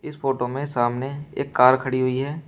इस फोटो में सामने एक कार खड़ी हुई है।